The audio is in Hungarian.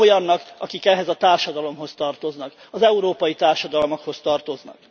Nem olyannak, akik ehhez a társadalomhoz tartoznak, az európai társadalmakhoz tartoznak.